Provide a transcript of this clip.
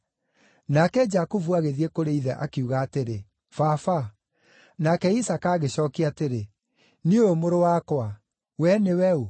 Nake Jakubu agĩthiĩ kũrĩ ithe, akiuga atĩrĩ, “Baba.” Nake Isaaka agĩcookia atĩrĩ, “Niĩ ũyũ, mũrũ wakwa; wee nĩwe ũ?”